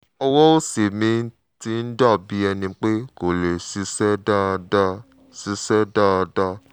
ọwọ́ òsì mi ti ń dà bí ẹni pé kò lè ṣiṣẹ́ dáadáa ṣiṣẹ́ dáadáa